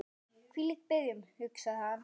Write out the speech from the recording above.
Hvílík byrjun, hugsaði hann.